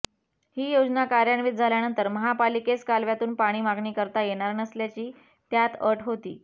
ही योजना कार्यान्वित झाल्यानंतर महापालिकेस कालव्यातून पाणी मागणी करता येणार नसल्याची त्यात अट होती